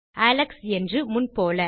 Alex என்று முன்போல